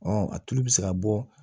a tulu bɛ se ka bɔ